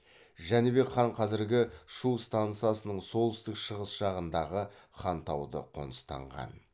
жәнібек хан қазіргі шу стансасының солтүстік шығыс жағындағы хантауды қоныстанған